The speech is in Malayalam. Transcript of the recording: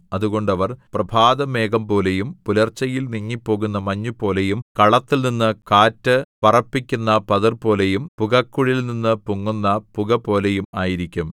അതുകൊണ്ട് അവർ പ്രഭാതമേഘംപോലെയും പുലർച്ചയിൽ നീങ്ങിപ്പോകുന്ന മഞ്ഞുപോലെയും കളത്തിൽനിന്ന് കാറ്റ് പറപ്പിക്കുന്ന പതിർപോലെയും പുകക്കുഴലിൽനിന്നു പൊങ്ങുന്ന പുകപോലെയും ആയിരിക്കും